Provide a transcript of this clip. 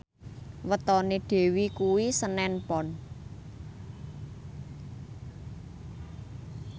wetone Dewi kuwi senen Pon